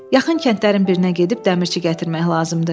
Yaxın kəndlərin birinə gedib dəmirçi gətirmək lazımdır.